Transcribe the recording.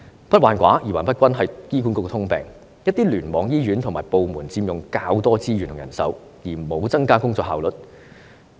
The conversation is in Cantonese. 不患寡而患不均是醫管局的通病，一些聯網醫院和部門佔用較多資源和人手，卻沒有增加工作效率。